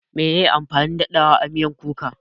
Meye amfanin daɗawa a miyan kuka?